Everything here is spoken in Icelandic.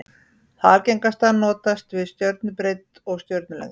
Það algengasta notast við stjörnubreidd og stjörnulengd.